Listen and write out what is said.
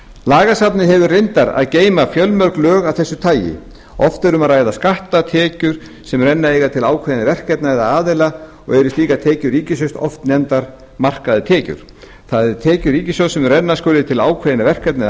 lagasafnið hefur reyndar að geyma fjölmörg lög af þessu tagi oft er um að ræða skatta tekjur sem renna eiga til ákveðinna verkefna eða aðila og eru slíkar tekjur ríkissjóðs oft nefndar markaðar tekjur það er tekjur ríkissjóðs sem renna skulu til ákveðinna verkefna eða